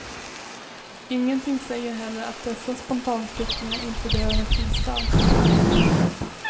Ingenting säger heller att dessa spontanflyktingar inte behöver en fristad.